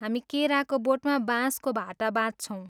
हामी केराको बोटमा बाँसको भाटा बाँध्छौँ।